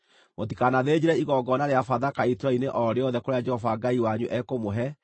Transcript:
Mũtikanathĩnjĩre igongona rĩa Bathaka itũũra-inĩ o rĩothe kũrĩa Jehova Ngai wanyu ekũmũhe,